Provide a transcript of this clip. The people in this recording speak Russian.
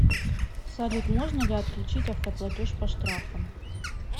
салют можно ли о отключить автоплатеж по штрафам